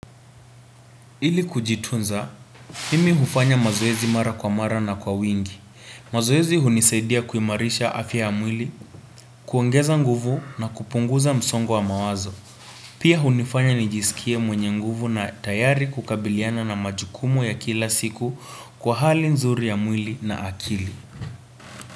Ili kujitunza, mimi hufanya mazoezi mara kwa mara na kwa wingi. Mazoezi hunisaidia kuimarisha afya ya mwili, kuaongeza nguvu na kupunguza msongo wa mawazo. Pia hunifanya nijiskie mwenye nguvu na tayari kukabiliana na majukumu ya kila siku kwa hali nzuri ya mwili na akili.